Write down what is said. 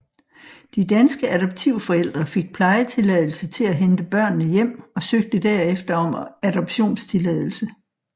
De danske adoptivforældre fik plejetilladelse til at hente børnene hjem og søgte derefter om adoptionstilladelse